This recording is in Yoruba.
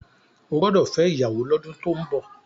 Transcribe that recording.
o gbódò fè ìyàwó l'ọdun tó ń bó!